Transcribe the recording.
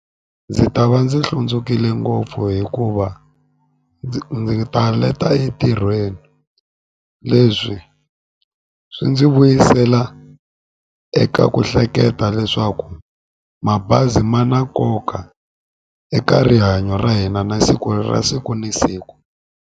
Ndzi ta va ndzi hlundzukile ngopfu hikuva ndzi ta leta entirhweni leswi swi ndzi vuyisela eka ku hleketa leswaku mabazi ma na nkoka eka rihanyo ra hina na siku ra siku na siku.